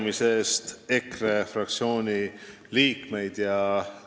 Ma tänan EKRE fraktsiooni liikmeid selle arupärimise eest!